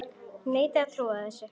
Ég neita að trúa þessu!